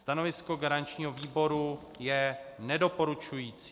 Stanovisko garančního výboru je nedoporučující.